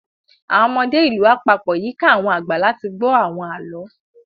Àwọn ọmọdé ìlú á pagbo yíká àwọn àgbà láti gbọ́ àwọn àlọ́